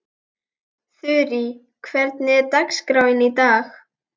Þurí, hvernig er dagskráin í dag?